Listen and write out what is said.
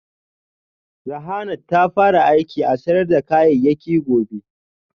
Rahanart ta fara aiki a sayar da kayayyaki gobe